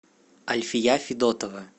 альфия федотова